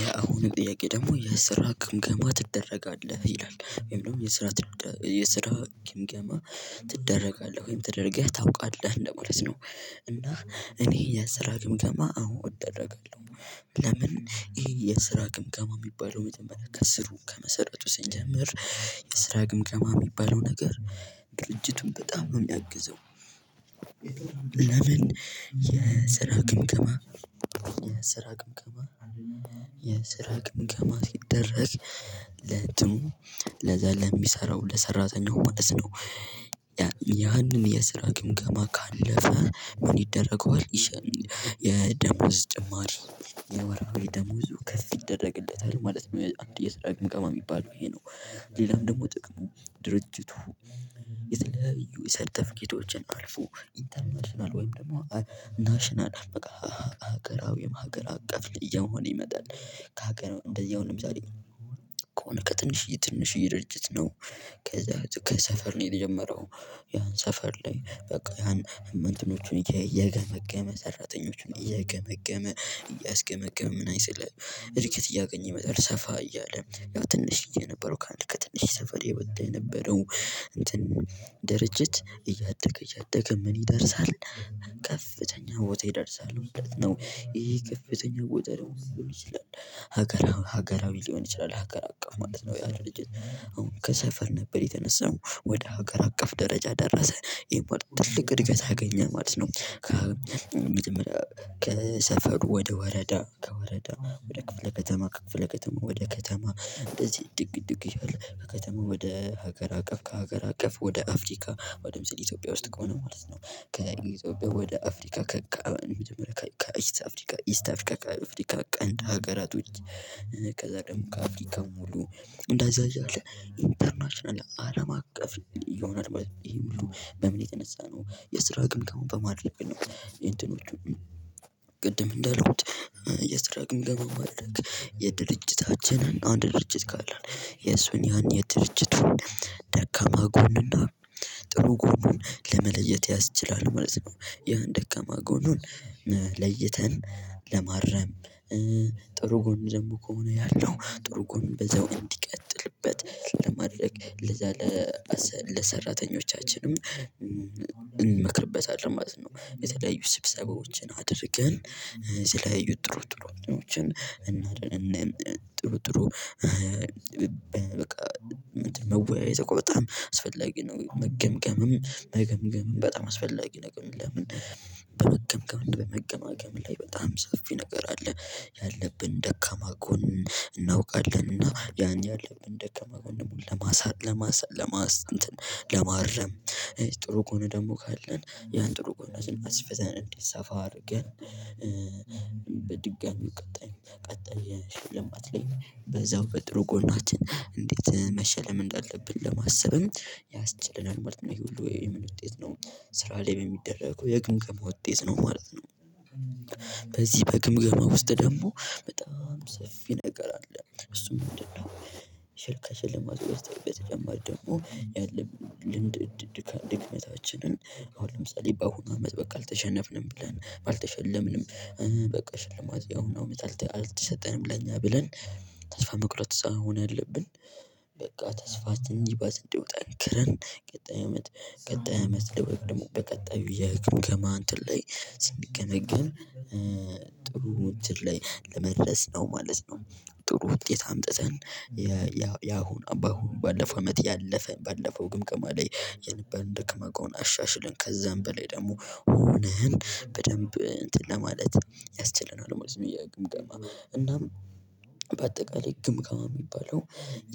የአሁኑ ጥያቄ ደግሞ የስራ ግምገማ ትደረጋለህ ይላል ወይም ደግሞ የስራ የስራ ግምገማ ትደረጋለህ ወይም ተደርገህ ታውቃለህ እንደማለት ነው። እና እኔ የስራ ግምገማ አዎ እደረጋለሁ። ለምን? ይሄ የስራ ግምገማ የሚባለው መጀመሪያ ከስሩ ከመሰረቱ ስንጀምር። የስራ ግምገማ የሚባለው ነገር ድርጅቱን በጣም ነው የሚያግዘው። ለምን? የስራ ግምገማ የስራ ግምገማ ሲደረግ ለእንትኑ ለዛ ለሚሰራው ለሰራተኛው ማለት ነው። ያንን የስራ ግምገማ ካለፈ ምን ይደረገዋል? ይሸም የደሞዝ ጭማሪ የወርሃዊ ደሞዙ ከፍ ይደረግለታል ማለት ነው። አንድ የስራ ግምገማ የሚባለው ይሄ ነው። ሌላም ደግሞ ጥቅሙ ድርጅቱ የተለያዩ የሰርተፍከቶችን አልፎ ኢንተርናሽናል ወይም ደግሞ ናሽናል ሀገራዊ ወይም ሀገር አቀፍ እየሆነ ይመጣል። ከሀገር ነው እንደዚህ አሁን ለምሳሌ ከሆነ ከትንሽዬ ትንሽዬ ድርጅት ነው። ከዛ ከሰፈር ነው የተጀመረው። ያን ሰፈር ላይ በቃ ያን እንትኖቹን እየገመገመ ሰራተኞቹን እየገመገመ እያስገመገመ ምናምን ስልህ እድገት እያገኘ ይመጣል ሰፋ እያለ። ያው ትንሽዬ የነበረው ከአንድ ከትንሽ ሰፈር የወጣ የነበረው እንትን ድርጅት እያደገ እያደገ ምን ይደርሳል? ከፍተኛ ቦታ ይደርሳል ማለት ነው። ይሄ ከፍተኛ ቦታ ደግሞ ምን ሊሆን ይችላል? ሀገር ሀገራዊ ሊሆን ይችላል ሀገር አቀፍ ማለት ነው። አሁን ከሰፈር ነበር የተነሳው ወደ ሀገር አቀፍ ደረጃ ደረሰ ይሄ በጣም ትልቅ እድገት አገኘ ማለት ነው። ከሰፈሩ ወደ ወረዳ ከወረዳ ወደ ክፍለ ከተማ ከክፍለ ከተማ ወደ ከተማ እንደዚህ እድግ እድግ እያለ ከከተማ ወደ ሀገር አቀፍ ከሀገር አቀፍ ወደ አፍሪካ አሁን ለምሳሌ ኢትዮጵያ ውስጥ ከሆነ ማለት ነው። ከኢትዮጵያ ወደ አፍሪካ ከአፍሪካ መጀመሪያ ከኢስት አፍሪካ ከአፍሪካ ቀንድ ሀገራቶች ከዛ ደግሞ ከአፍሪካ ሙሉ እንደዛ አያለ ኢንተርናሽናል አለም አቀፍ ይሆናል። ይሄ ሁሉ በምን የተነሳ ነው? የስራ ግምገማውን በማድረግ ነው። የእንትኖቹ ቅድም እንዳልኩት የስራ ግምገማ ማድረግ የድርጅታችንን አንድ ድርጅት ካለን የሱን ያን የድርጅት ደካማ ጎንና ጥሩ ጎኑን ለመለየት ያስችላል ማለት ነው። ያን ደካማ ጎኑን ለይተን ለማረም። ጥሩ ጎን ደግሞ ከሆነ ያለው ጥሩ ጎን በዛው እንዲቀጥልበት ለማድረግ ለዛ ለሰራተኞቻችንም እንመክርበታለን ማለት ነው። የተለያዩ ስብሰባዎችን አድርገን ስለያዩት ጥሩ ጥሩ ጥሩ ጥሩ በቃ መወያየት እኮ በጣም አስፈላጊ ነው። መገምገምም መገምገምም በጣም አስፈላጊ ነገር ነው። ለምን በመገምገም በመገማገም ላይ በጣም ሰፊ ነገር አለ። ያለብን ደካማ ጎን እናውቃለንና ያን ያለብን ደካማ ጎን ለማሳ ለማስ ለማስ ለማረም። ጥሩ ጎን ደግሞ ካለን ያን ጥሩ ጎን ስናስፈዘን እንዲሰፋ አድርገን። በድጋሚ ቀጣይ ቀጣይ ሽልማት ላይ በዛው በጥሩ ጎናችን እንዴት መሸለም እንዳለብን ለማሰብም ያስችለናል ማለት ነው ይሄ ሁሉ የምን ውጤት ነው። ስራ ላይ በሚደረገው የግምገማ ውጤት ነው ማለት ነው። በዚህ በግምገማ ውስጥ ደግሞ በጣም ሰፊ ነገር አለ። እሱም ምንድነው? ሸልካ ከሸልማቱ በተጨማሪ ደግሞ ያለ ልምድ ድክመታችንን አሁን ለምሳሌ በአሁኑ አመት በቃ አልተሸነፍንም ብለን ባልተሸለምንም። በቃ ሽልማት ያሁኑ አመት አልተሰጠንም ለኛ ብለን ተስፋ መቁረጥ ሳይሆን ያለብን። በቃ ተስፋችን የባስ እንዲወጣ ጠንክረን ቀጣይ አመት ቀጣይ አመት ላይ ወይም ደግሞ በቀጣዩ የግምገማ እንትን ላይ ስንገመገም ጥሩ እንትን ላይ ለመድረስ ነው ማለት ነው። ጥሩ ውጤት አምጥተን ያሁን ባለፈው አመት ያለፈን ባለፈው ግምግማ ላይ የነበረን ደካማ ጎን አሻሽለን ከዛም በላይ ደግሞ ሆነን በደንብ እንትን ለማለት ያስችለናል። ማለት ነው። የግምገማ እናም በአጠቃላይ ግምገማ የሚባለው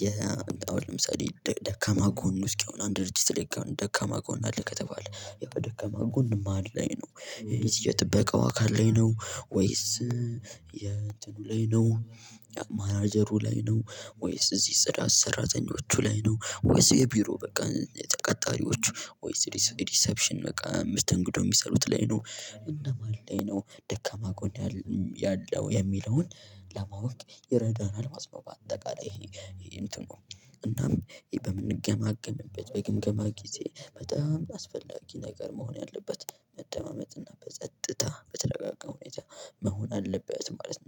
የአሁን ለምሳሌ ደካማ ጎን እስኪ አሁን አንድ ድርጅት ላይ ደካማ ጎን አለ ከተባለ ያው ደካማ ጎን ማን ላይ ነው? የት የጥበቃው አካል ላይ ነው? ወይስ የእንትኑ ላይ ነው? ማናጀሩ ላይ ነው? ወይስ እዚህ ጽዳት ሰራተኞቹ ላይ ነው? ወይስ የቢሮ በቃ ተቀጣሪዎቹ ወይስ ዲሰፕሽን በቃ መስተንግዶ የሚሰሩት ላይ ነው? እነማን ላይ ነው? ደካማ ጎን ያለው የሚለውን ለማወቅ ይረዳናል። በአጠቃላይ ይሄ እንትኑ እናም ይሄ በምንገማገምበት በግምገማ ጊዜ በጣም አስፈላጊ ነገር መሆን ያለበት መደማመጥ እና በጸጥታ በተረጋጋ ሁኔታ መሆን አለበት። ማለት ነው